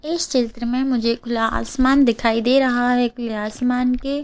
इस चित्र में मुझे खुला आसमान दिखाई दे रहा है खुले आसमान के --